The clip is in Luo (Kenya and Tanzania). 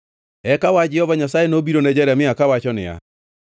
Eka wach Jehova Nyasaye nobiro ne Jeremia, kawacho niya: